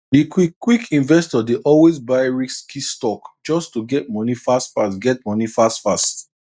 di quick quick investor dey always buy risky stock just to get money fast fast get money fast fast